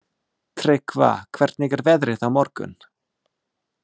Tryggva, hvernig er veðrið á morgun?